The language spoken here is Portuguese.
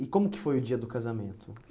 E como que foi o dia do casamento?